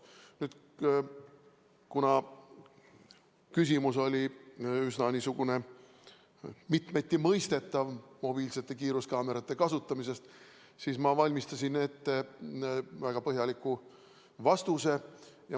Kuna küsimus oli üsna mitmeti mõistetav – mobiilsete kiiruskaamerate kasutamine –, siis ma valmistasin ette väga põhjaliku vastuse.